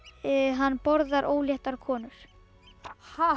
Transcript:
hann borðar óléttar konur ha